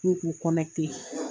N k'u k'u